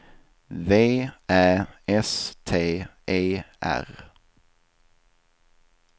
V Ä S T E R